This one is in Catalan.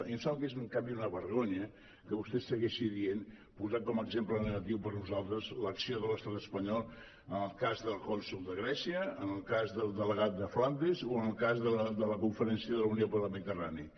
i em sembla que és en canvi una vergonya que vostè segueixi dient posant com a exemple negatiu per a nosaltres l’acció de l’estat espanyol en el cas del cònsol de grècia en el cas del delegat de flandes o en el cas de la conferència de la unió per la mediterrània